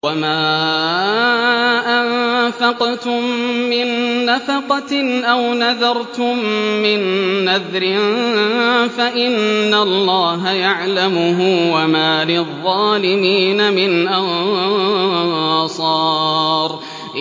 وَمَا أَنفَقْتُم مِّن نَّفَقَةٍ أَوْ نَذَرْتُم مِّن نَّذْرٍ فَإِنَّ اللَّهَ يَعْلَمُهُ ۗ وَمَا لِلظَّالِمِينَ مِنْ أَنصَارٍ